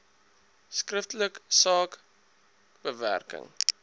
skriftelik saak bewering